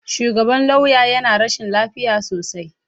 Shugaban lauya yana rashin lafiya sosai.